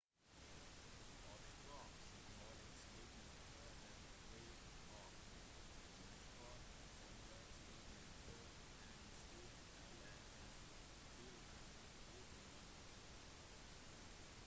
«oppstrøk»-symbolet ligner på en v og «nedstrøk»-symbolet ligner på en stift eller en firkant uten bunn